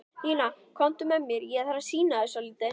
Nína, komdu með mér, ég þarf að sýna þér svolítið.